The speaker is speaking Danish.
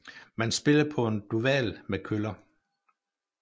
Man spiller på en duval med køller